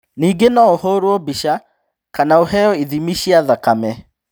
Ningĩ no ũhũrũo mbica kana ũheo ithimi cia thakame.